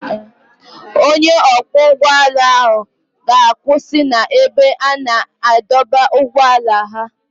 Onye ọkwọ ụgbọ ala ga-akwụsị n'ebe a na-adọba ụgbọala ha.